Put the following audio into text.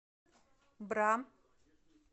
бра